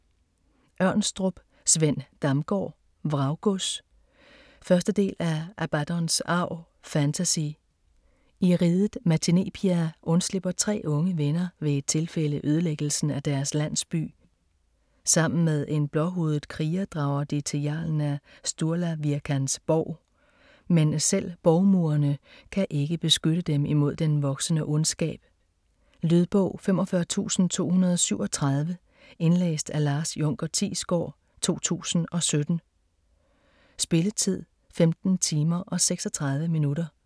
Ørnstrup, Sven Damgaard: Vraggods 1. del af Abaddons arv. Fantasy. I riget Matinepia undslipper tre unge venner ved et tilfælde ødelæggelsen af deres landsby. Sammen med en blåhudet kriger drager de til jarlen af Sturlavirkans borg. Men selv borgmurene kan ikke beskytte dem imod den voksende ondskab. Lydbog 45237 Indlæst af Lars Junker Thiesgaard, 2017. Spilletid: 15 timer, 36 minutter.